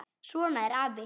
Svona er afi.